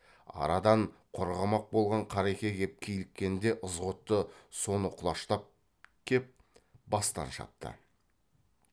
арадан қорғамақ болған қареке кеп киліккенде ызғұтты соны құлаштап кеп бастан шапты